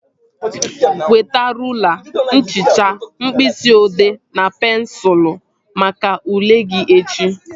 Weta rụla, nchicha, mkpịsị odee na pensụl maka ule gị echi